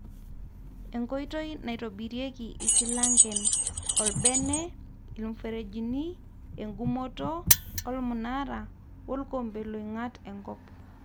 enkoitoi naitobirieki silangen:olbene, ilmuferejini, enkumoto,,olmnara, wolkombe loingat enkp